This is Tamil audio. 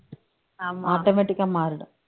automatic ஆ மாறிடும்